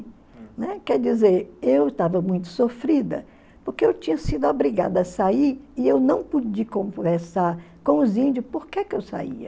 Né? Quer dizer, eu estava muito sofrida, porque eu tinha sido obrigada a sair e eu não pude conversar com os índios por que que eu saía.